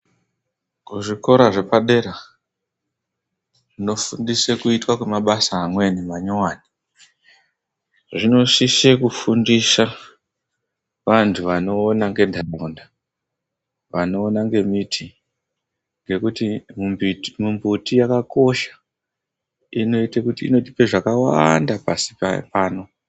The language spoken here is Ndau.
Kuzvikora zvepadera tinofundiswe kuita kwemabasa amweni manyowani. Zvinosise kufundisa vantu vanoona ngendaraunda vanoona ngemiti ngekuti mimbuti yakakosha inotipa zvakawanda pasi pano.